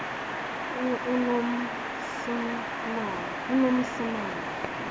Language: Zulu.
unomsimangu